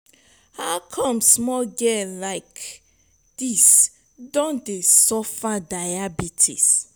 how come small girl like dis don dey suffer diabetes.